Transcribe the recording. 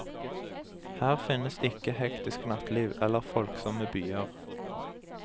Her finnes ikke hektisk natteliv, eller folksomme byer.